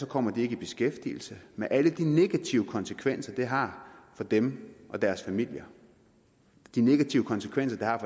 kommer de ikke i beskæftigelse med alle de negative konsekvenser det har for dem og deres familier de negative konsekvenser der har